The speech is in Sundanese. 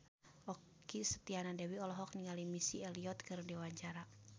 Okky Setiana Dewi olohok ningali Missy Elliott keur diwawancara